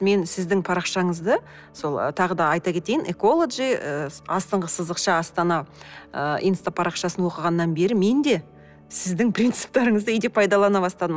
мен сіздің парақшаңызды сол тағы да айта кетейін эколоджи ыыы астыңғы сызықша астана ы инстапарақшасын оқығаннан бері мен де сіздің принциптарыңызды үйде пайдалана бастадым